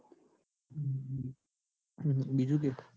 બીજું કે